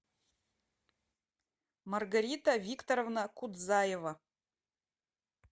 маргарита викторовна кудзаева